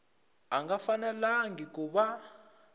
a nga fanelangi ku va